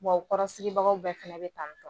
Bɔn u kɔrɔ sigibagaw bɛɛ fɛnɛ bɛ tan.